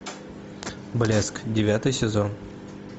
блеск девятый сезон